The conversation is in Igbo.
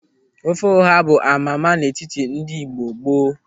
Ofe ọha bụ amama n'etiti ndị Igbo gboo.